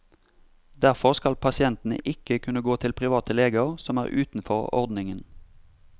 Derfor skal pasientene ikke kunne gå til private leger som er utenfor ordningen.